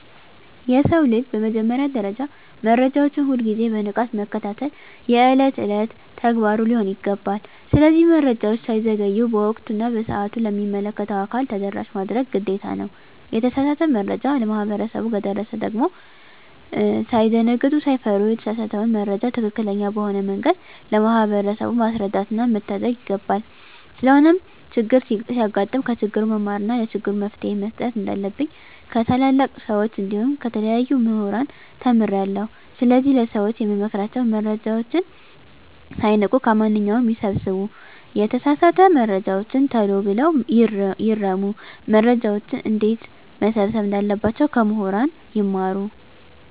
የሰው ልጅ በመጀመሪያ ደረጃ መረጃዎችን ሁል ግዜ በንቃት መከታተል የእለት እለት ተግባሩ ሊሆን ይገባል። ስለዚህ መረጃወች ሳይዘገዩ በወቅቱ እና በሰአቱ ለሚመለከተው አካል ተደራሽ ማድረግ ግዴታ ነው። የተሳሳተ መረጃ ለማህበረሰቡ ከደረሰ ደግም ሳይደነግጡ ሳይፈሩ የተሳሳተውን መረጃ ትክክለኛ በሆነ መንገድ ለማህበረሰቡ ማስረዳትና መታደግ ይገባል። ስለሆነም ቸግር ሲያጋጥም ከችግሩ መማርና ለችግሩ መፈትሄ መስጠት እንንዳለብኝ ከታላላቅ ሰወች እንዲሁም ከተለያዩ ሙህራን ተምሬአለሁ። ስለዚህ ለሰወች የምመክራቸው መረጃወችን ሳይንቁ ከማንኛው ነገር ይሰብስቡ የተሳሳተ መረጃወችን ተሎ ብለው ይርሙ። መረጃወችን እንዴትመሰብሰብ እንዳለባቸው ከሙህራን ይማሩ።